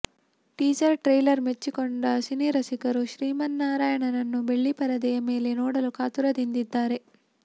teaser trailer ಮೆಚ್ಚಿಕೊಂಡ ಸಿನಿರಸಿಕರು ಶ್ರೀಮನ್ನಾರಾಯಣನನ್ನು ಬೆಳ್ಳಿ ಪರದೆಯ ಮೇಲೆ ನೋಡಲು ಕಾತರದಿಂದಿದ್ದಾರೆ